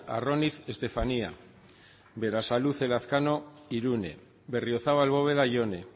arroniz estefanía berasaluze lazkano irune berriozabal bóveda jone